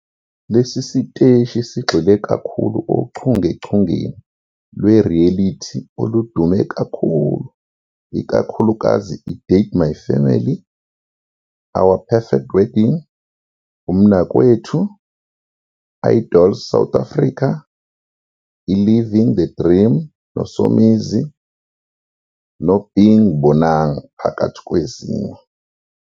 Lesi siteshi sigxile kakhulu ochungechungeni lwe-reality oludume kakhulu, ikakhulukazi iDate My Family, Our Perfect Wedding, uMnakwethu, Idols South Africa, iLiving The Dream noSomizi noBeing Bonang phakathi kwezinye.